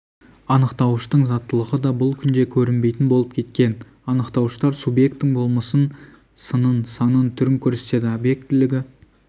анықтауыштың заттылығы да бұл күнде көрінбейтін болып кеткен анықтауыштар субъектің болмысын сынын санын түрін көрсетеді объектілігі